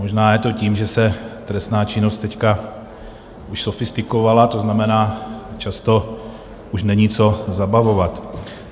Možná je to tím, že se trestná činnost teď už sofistikovala, to znamená, často už není co zabavovat.